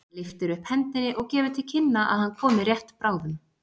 Hann lyftir upp hendi og gefur til kynna að hann komi rétt bráðum.